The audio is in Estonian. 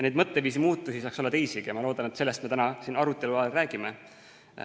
Neid mõtteviisi muutusi saaks olla teisigi ja ma loodan, et sellest me täna siin arutelu ajal ka räägime.